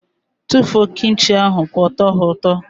Tụfuo Kim chi ahụ pụọ! Ọ tọghi ụtọ.